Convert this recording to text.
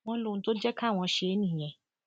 wọn lóhun tó jẹ káwọn ṣe é nìyẹn